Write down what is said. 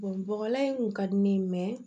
bɔgɔlan in kun ka di ne ye